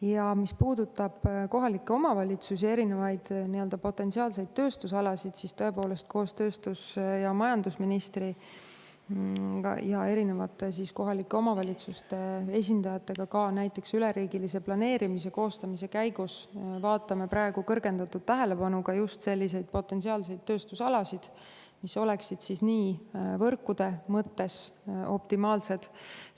Ja mis puudutab kohalikke omavalitsusi ja potentsiaalseid tööstusalasid, siis tõepoolest, koos tööstus- ja majandusministri ning kohalike omavalitsuste esindajatega ka näiteks üleriigilise planeerimise käigus me vaatame praegu kõrgendatud tähelepanuga just selliseid potentsiaalseid tööstusalasid, mis oleksid võrkude mõttes optimaalsed.